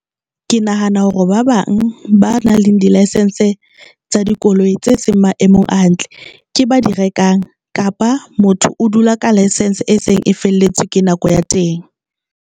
Ke nahana hore ba bang ba nang le di-licence tsa dikoloi tse seng maemong a hantle ke ba di rekang kapa motho o dula ka license e seng e feletswe ke nako ya teng.